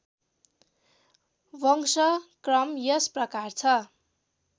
वंशक्रम यस प्रकार छ